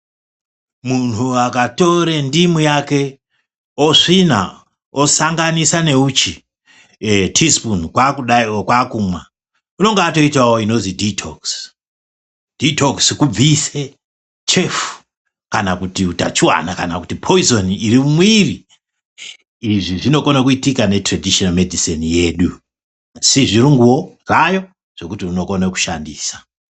Muntu akatore ndimu yake osvina osanganisa neuchi tii sipunu kwakudai oo kwakumwa unenge atoitavo inonzi dhiitokisi. Dhiitokisi kubvise chefu kana kana kuti hutachivana kana kuti poizoni iri mumwiri. Izvi zvinokona kuitika neturedhisheni medhiseni yedu, sezvirunguvo zvayo zvokuti unokona kushandisa.